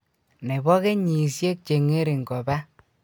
Nebo kenyisiek che ngering koba